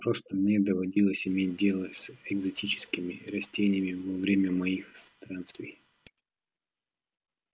просто мне доводилось иметь дело с экзотическими растениями во время моих странствий